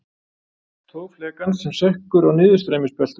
Tog flekans sem sekkur á niðurstreymisbeltum.